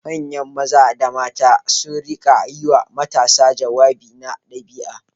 Manya Maza da Mata su rika yiwa matasa jawabi na ɗabi'a